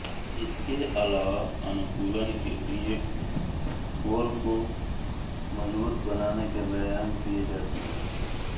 इसके अलावा अनुकूलन के लिए कोर को मजबूत बनाने के व्यायाम किये जाते हैं